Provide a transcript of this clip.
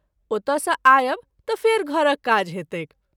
ओतय सँ आयब त’ फेरि घरक काज हेतैक।